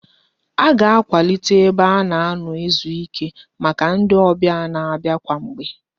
A ga-akwalite ebe a na-anọ ezuike maka ndị ọbịa na-abịa kwa mgbe